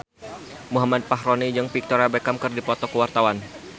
Muhammad Fachroni jeung Victoria Beckham keur dipoto ku wartawan